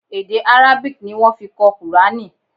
Èdè Arabic ni wọ́n fi kọ kùránì.